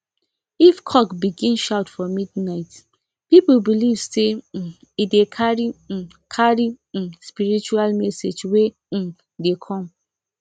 if cock begin shout for midnight people believe say um e dey carry um carry um spiritual message wey um dey come